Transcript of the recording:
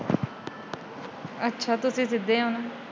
ਅੱਛਾ ਤਾਂ ਤੁਸੀਂ ਸਿੱਧੇ ਓ।